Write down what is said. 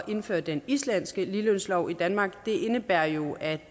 indføre den islandske ligelønslov i danmark det indebærer jo at